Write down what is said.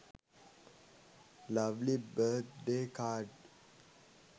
lovely birthday card